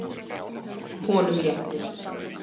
Honum léttir.